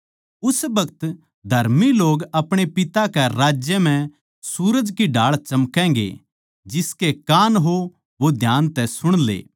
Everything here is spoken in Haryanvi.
उस बखत धर्मी लोग अपणे पिता कै राज्य म्ह सूरज की ढाळ चमकैगें जिसके कान हों वो ध्यान तै सुण ले